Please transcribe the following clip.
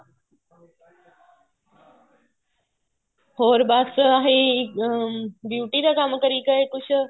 ਹੋਰ ਬੱਸ ਆਹੀ ਅਹ beauty ਦਾ ਕੰਮ ਕਰੀ ਗਏ ਕੁੱਝ